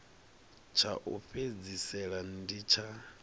tsha u fhedzisela ndi tsha